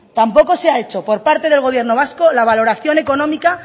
tampoco se ha hecho por parte del gobierno vasco la valoración económica